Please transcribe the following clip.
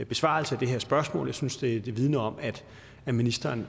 besvarelse af det her spørgsmål jeg synes det det vidner om at ministeren